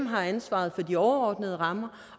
har ansvaret for de overordnede rammer